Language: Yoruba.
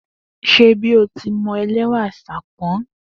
Den a'a e n'awo yo gba.